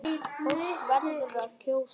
Fólk verður að kjósa!